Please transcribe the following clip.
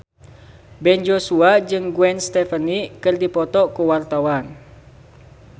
Ben Joshua jeung Gwen Stefani keur dipoto ku wartawan